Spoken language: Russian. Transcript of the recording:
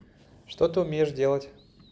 что ты умеешь делать